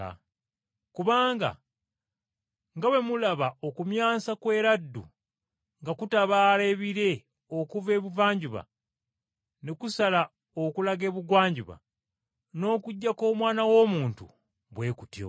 Kubanga nga bwe mulaba okumyansa kw’eraddu nga kutabaala ebire okuva ebuvanjuba ne kusala okulaga ebugwanjuba, n’okujja kw’Omwana w’Omuntu bwe kutyo.